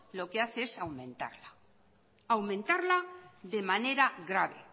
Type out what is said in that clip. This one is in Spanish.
lo que hace es aumentarla aumentarla de manera grave